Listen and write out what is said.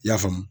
I y'a faamu